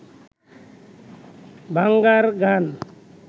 ভাঙার গান